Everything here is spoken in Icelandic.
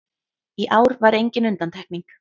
Í ár var engin undantekning